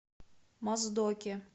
моздоке